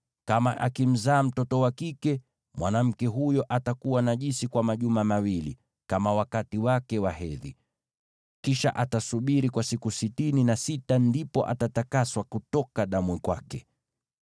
Kama akimzaa mtoto wa kike, mwanamke huyo atakuwa najisi kwa majuma mawili, kama wakati wake wa hedhi. Kisha atasubiri kwa siku sitini na sita, ndipo atatakaswa kutoka damu kwake.